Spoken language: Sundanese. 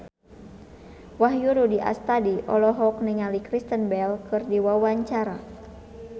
Wahyu Rudi Astadi olohok ningali Kristen Bell keur diwawancara